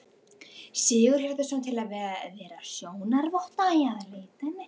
Sigurhjartarson, til að vera sjónarvotta að leitinni.